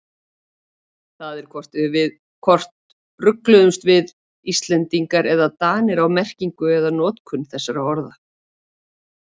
Það er hvort rugluðumst við Íslendingar eða Danir á merkingu eða notkun þessara orða.